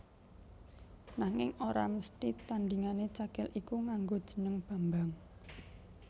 Nanging ora mesthi tandhingané Cakil iku nganggo jeneng Bambang